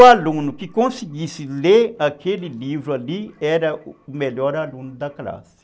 O aluno que conseguisse ler aquele livro ali era o melhor aluno da classe.